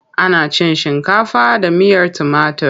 Ana cin shinkafa da miyar tumatir.